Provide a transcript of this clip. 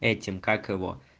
этим как его